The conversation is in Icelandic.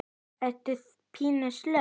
Ertu pínu sloj?